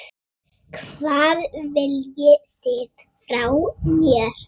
Hvað viljið þið frá mér?